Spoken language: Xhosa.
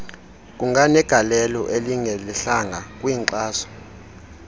kunganegalelo elingelihlanga kwinkxaso